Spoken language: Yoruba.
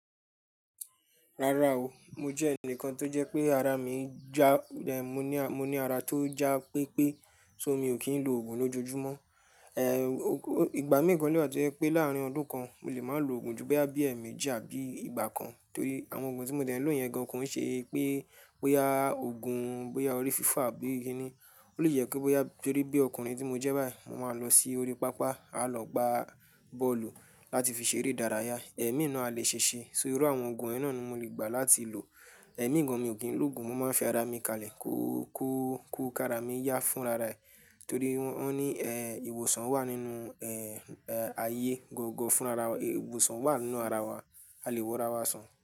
Rara o, mo jẹ́ ẹnìkan tó jẹ́ pé ara mi já, mo ní, mo ní ara tó já pé pé, so mi ò kí ń lo òògùn lójoojúmọ́. Ehn, ìgbà mí gan lewa tọ̀jẹ́ pé láàárín ọdún kan, mo lè má lo òògùn ju boya bí emeji àbí ìgbà kan torí àwọn òògùn tí mo dẹ̀ lóyen gan koun ṣe pé bóyá òògùn, bóyá orí fífọ́ àbí ki ni. Ó lè jẹ pe bóyá torí bí ọkùnrin tí mo jẹ́ báyìí, mo máa lọ sí orí pápá, a lọ gbá bọ́ọ̀lù láti fi ṣeré idárayá, ẹ̀mí ni a lè ṣe ṣe. So irú àwọn òògùn yen náà ni mo lè gbà láti lò. Ẹ̀mí gan mi ò kí ń lo òògùn, mo máa ń fi ara mi kalẹ̀, kú kú kú ká ara mi yá fún rara ẹ̀ torí wọ́n ní ehn ìwòsàn wà nínú ehn aye gbogbo fún ara wa, ìwòsàn wà nínú ara wa, a lè wo ara wa sàn.